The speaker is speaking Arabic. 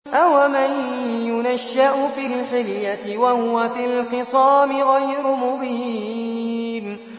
أَوَمَن يُنَشَّأُ فِي الْحِلْيَةِ وَهُوَ فِي الْخِصَامِ غَيْرُ مُبِينٍ